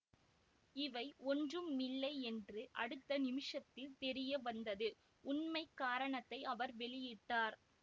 இவை ஒன்றுமில்லையென்று அடுத்த நிமிஷத்தில் தெரிய வந்தது உண்மை காரணத்தை அவர் வெளியிட்டார்